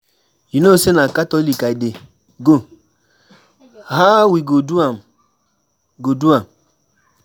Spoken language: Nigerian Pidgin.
You know say na catholic I dey go, how we go do am go do am?